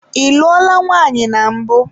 Ị lụọla nwaanyị na mbụ?